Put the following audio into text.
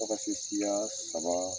F'a ka se siya saba